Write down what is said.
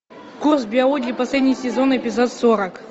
курс биологии последний сезон эпизод сорок